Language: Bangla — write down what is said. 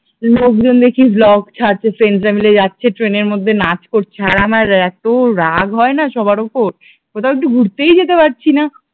লোকজন দেখি ব্লগ ছাড়ছে, ফ্রেন্ডস রা মিলে যাচ্ছে ট্রেনের মধ্যে নাচ করছে, আর আমার এত রাগ হয় না সবার উপর কোথাও একটু ঘুরতেই যেতে পারছি না